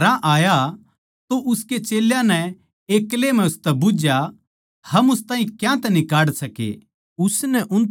जिब वो घरां आया तो उसके चेल्यां नै एक्लै म्ह उसतै बुझ्झया हम उस ताहीं क्यांतै न्ही काढ सके